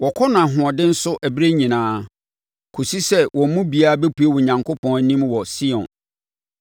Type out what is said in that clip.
Wɔkɔ no ahoɔden so berɛ nyinaa, kɔsi sɛ wɔn mu biara bɛpue Onyankopɔn anim wɔ Sion.